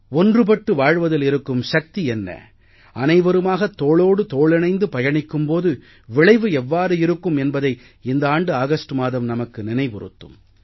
ஒன்றுபட்டு வாழ்வதில் இருக்கும் சக்தி என்ன அனைவருமாக தோளோடு தோளிணைந்து பயணிக்கும் போது விளைவு எவ்வாறு இருக்கும் என்பதை இந்த ஆண்டு ஆகஸ்ட் மாதம் நமக்கு நினைவுறுத்தும்